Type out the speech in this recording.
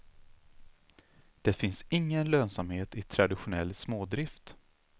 Det finns ingen lönsamhet i traditionell smådrift.